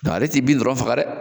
Nka ale t'i bin dɔrɔn faga dɛ